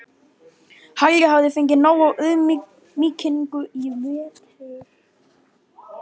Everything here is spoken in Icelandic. Halli hafði fengið nóg af auðmýkingu í vetur.